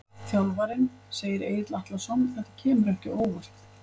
Þjálfarinn segir- Egill Atlason Þetta kemur ekki á óvart.